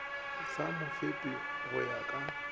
sa mofepi go ya ka